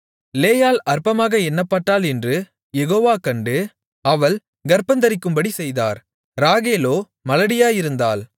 லேயாள் அற்பமாக எண்ணப்பட்டாள் என்று யெகோவா கண்டு அவள் கர்ப்பந்தரிக்கும்படி செய்தார் ராகேலோ மலடியாயிருந்தாள்